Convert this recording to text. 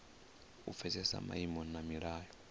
u pfesesa maimo na milayo